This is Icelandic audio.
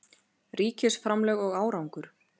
Ríkisframlög og árangur